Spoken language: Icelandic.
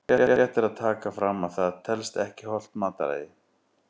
Rétt er að taka fram að það telst ekki hollt mataræði!